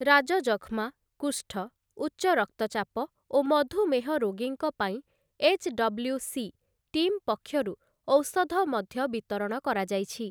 ରାଜଯକ୍ଷ୍ମା, କୁଷ୍ଠ, ଉଚ୍ଚ ରକ୍ତଚାପ ଓ ମଧୁମେହ ରୋଗୀଙ୍କ ପାଇଁ ଏଚ୍‌ଡବ୍‌ଲ୍ୟୁସି ଟିମ୍ ପକ୍ଷରୁ ଔଷଧ ମଧ୍ୟ ବିତରଣ କରାଯାଇଛି ।